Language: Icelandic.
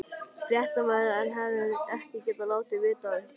Fréttamaður: En hefðuð þið ekki getað látið vita af ykkur?